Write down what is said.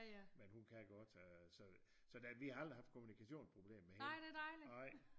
Men hun kan godt så øh vi har aldrig haft kommunikationsproblemer med hende